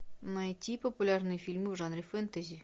найти популярные фильмы в жанре фэнтези